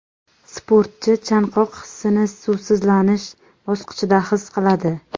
Sportchi chanqoq hissini suvsizlanish bosqichida his qiladi.